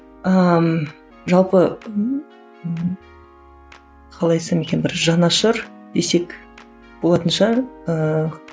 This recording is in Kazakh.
ыыы жалпы қалай айтсам екен бір жанашыр десек болатын шығар ыыы